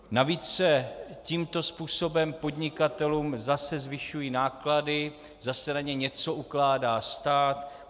Navíc se tímto způsobem podnikatelům zase zvyšují náklady, zase na ně něco ukládá stát.